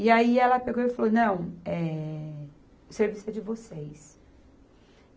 E aí ela pegou e falou, não, eh, o serviço é de vocês.